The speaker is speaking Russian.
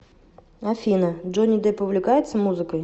афина джонни депп увлекается музыкой